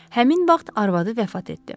Həmin vaxt arvadı vəfat etdi.